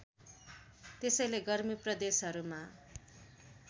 त्यसैले गर्मी प्रदेशहरूमा